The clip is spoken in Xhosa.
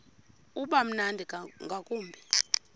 uba mnandi ngakumbi